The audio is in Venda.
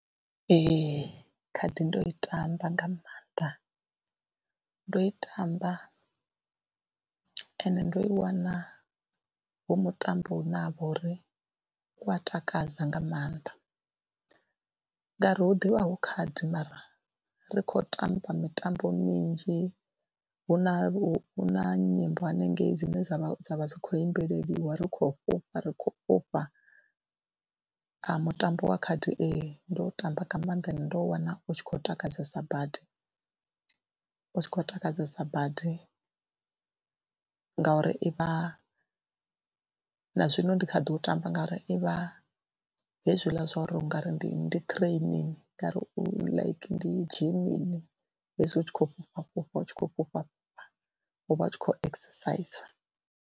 Ee, khadi ndo i tamba nga maanḓa, ndo i tamba ende ndo i wana hu mutambo une ha vha uri u a takadza nga maanḓa ngauri hu ḓivha hu khaḓi mara ri khou tamba mitambo minzhi, hu na hu na nyimbo hanengei dzine dza vha dzi khou imbeliwa ri khou fhufha ri khou fhufha. A Mutambo wa khadi ee ndo u tamba nga maanḓa ende ndo u wana u tshi khou takadzesa badi, u tshi khou takadzesa badi ngauri i vha, na zwino i ndi kha ḓi u tamba ngauri i vha hezwiḽa zwa uri u nga ri ndi ndi training nga ri like ndi zhimini hezwi u tshi khou fhufha fhufha ut shi khou fhufha fhufha u vha u tshi khou exercise.